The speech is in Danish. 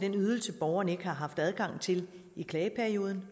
den ydelse borgeren ikke har haft adgang til i klageperioden